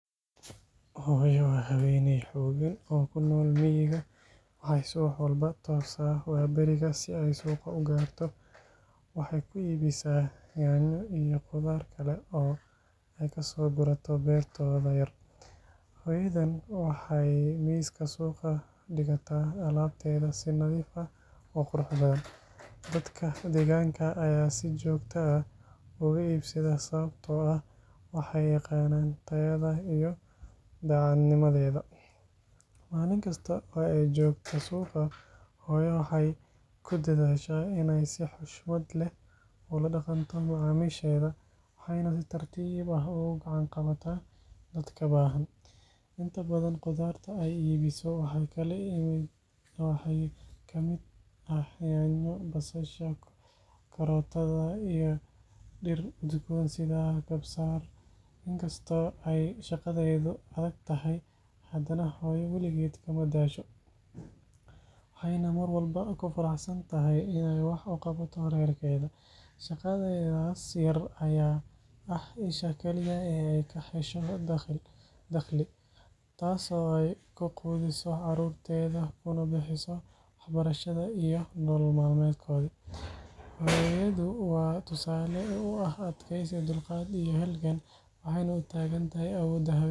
Hooyo waa haweeney xooggan oo ku nool miyiga, waxay subax walba toosaa waaberiga si ay suuqa u gaarto. Waxay ku iibisaa yaanyo iyo khudaar kale oo ay ka soo gurato beertooda yar. Hooyadan waxay miiska suuqa dhigataa alaabteeda si nadiif ah oo qurux badan, dadka deegaanka ayaa si joogto ah uga iibsada sababtoo ah waxay yaqaanaan tayada iyo daacadnimadeeda. Maalin kasta oo ay joogto suuqa, hooyo waxay ku dadaashaa inay si xushmad leh ula dhaqanto macaamiisheeda, waxayna si tartiib ah ugu gacan qabataa dadka baahan. Inta badan, khudaarta ay iibiso waxaa ka mid ah yaanyo, basasha, karootada iyo dhir udgoon sida kabsar. Inkastoo ay shaqadeedu adag tahay, hadana hooyo waligeed kama daasho, waxayna mar walba ku faraxsan tahay inay wax u qabato reerkeeda. Shaqadeedaas yar ayaa ah isha kaliya ee ay ka hesho dakhli, taasoo ay ku quudiso caruurteeda kuna bixiso waxbarashada iyo nolol maalmeedka. Hooyadu waa tusaale u ah adkaysi, dulqaad iyo halgan, waxayna u taagan tahay awoodda haweenka Soomaaliyeed.